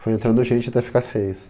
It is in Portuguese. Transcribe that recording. Foi entrando gente até ficar seis.